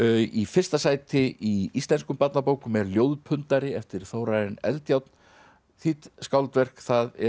í fyrsta sæti í íslenskum barnabókum er eftir Þórarin Eldjárn þýdd skáldverk þar er